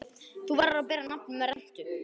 Þú verður að bera nafn með rentu.